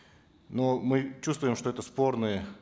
но мы чувствуем что это спорные